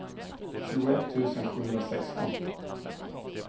tjugoett tusen sjuhundrasexton